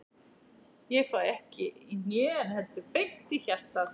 Ég fæ ekki í hnén, heldur beint í hjartað.